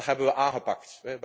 Dat hebben we aangepakt.